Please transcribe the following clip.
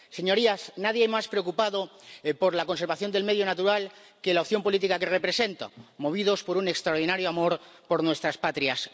Señorías, nadie más preocupado por la conservación del medio natural que la opción política que represento, movidos por un extraordinario amor por nuestras patrias.